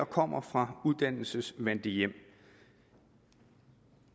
kommer fra uddannelsesvante hjem